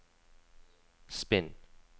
spinn